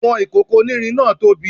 Àwọn ìkòkò onírin náà tóbi